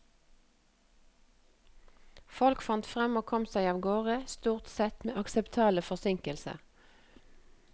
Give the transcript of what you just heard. Folk fant frem og kom seg av gårde, stort sett med akseptable forsinkelser.